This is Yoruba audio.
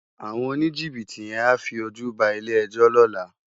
Áwòn ónijibiti yèn á fi ójú bá ilé èjò lòlá